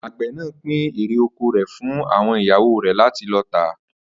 Àgbè̩ náà pín erè oko rè̩ fún àwo̩n ìyàwó rè̩ láti lo̩ tà